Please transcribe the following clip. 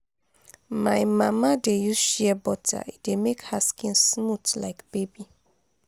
my mama dey use shea butter e dey make her skin smooth like baby.